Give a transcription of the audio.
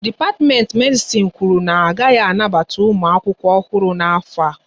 Dipatimenti Medisin kwụrụ na ha agaghị anabata ụmụ akwụkwọ ọhụrụ n'afọ a